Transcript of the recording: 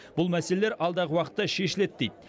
бұл мәселелер алдағы уақытта шешіледі дейді